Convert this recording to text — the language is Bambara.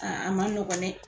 Aa a ma nɔgɔn nɛ